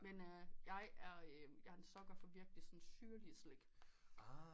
Men øh jeg er en sucker for sådan virkelig syrlig slik